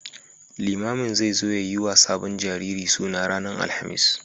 Limamin zai zo ya yi wa sabon jariri suna ranar Alhamis.